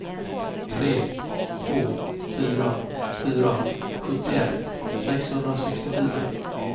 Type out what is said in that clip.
tre två fyra fyra sjuttioett sexhundrasextiofyra